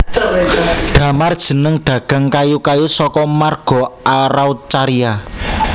Damar jeneng dagang kayu kayu saka marga Araucaria